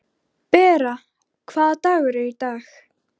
Bera, hvaða dagur er í dag?